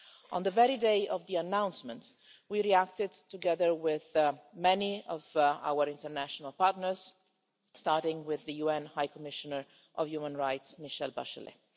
On the very day of the announcement, we reacted together with many of our international partners, starting with the UN High Commissioner for Human Rights, Michelle Bachelet.